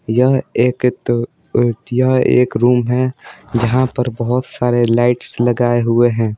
यह एक तो एक रूम है जहाँ पर बहोत सारे लाइट्स लगाए हुए हैं।